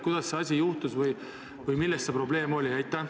Kuidas see asi juhtus või milles see probleem oli?